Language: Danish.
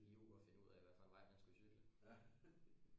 Fire uger og finde ud af hvad for en vej man skal cykle